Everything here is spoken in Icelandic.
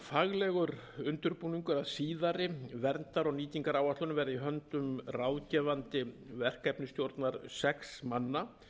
faglegur undirbúningur að síðari verndar og nýtingaráætlunum verði í höndum ráðgefandi verkefnisstjórnar sex manna